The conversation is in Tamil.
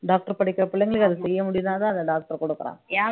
doctor படிக்கிற பிள்ளைங்களுக்கு அதை செய்ய முடிந்தால்தான் அந்த doctor கொடுக்கறான்